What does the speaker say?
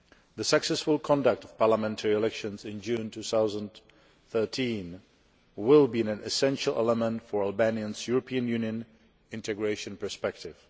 The successful conduct of parliamentary elections in June 2013 will be an essential element for Albania's European Union integration perspective.